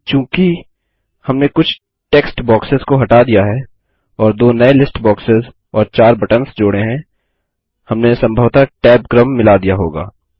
किन्तु चूँकि हमने कुछ टेक्ट बॉक्सेस को हटा दिया है और दो नये लिस्ट बॉक्सेस और चार बटन्स जोड़े हैं हमने सम्भवतः टैब क्रम मिला दिया होगा